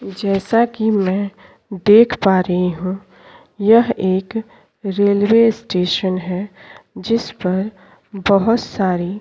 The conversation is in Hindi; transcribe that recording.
जैसा कि मैं देख पा रही हूं यह एक रेलवे स्टेशन है जिस पर बहोत सारी --